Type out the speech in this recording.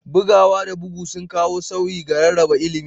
Bugawa da bugu sun kawo sauyi ga rarraba ilimi